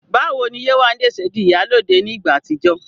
Báwo ni Yéwandé ṣe di "ìyálóde" ní ìgbà àtijọ́?